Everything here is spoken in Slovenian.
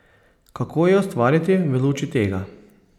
Kako je ustvarjati v luči tega?